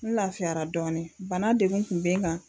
N lafiyara dɔɔnin bana degun kun bɛ n kan.